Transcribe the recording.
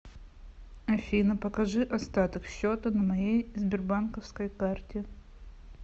афина покажи остаток счета на моей сбербанковской карте